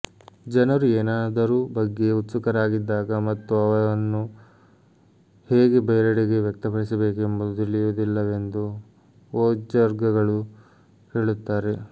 ಜನರು ಏನಾದರೂ ಬಗ್ಗೆ ಉತ್ಸುಕರಾಗಿದ್ದಾಗ ಮತ್ತು ವನ್ನು ಹೇಗೆ ಬೇರೆಡೆಗೆ ವ್ಯಕ್ತಪಡಿಸಬೇಕೆಂಬುದು ತಿಳಿದಿಲ್ಲವೆಂದು ವೊಜ್ಜರ್ಗಳು ಹೇಳುತ್ತಾರೆ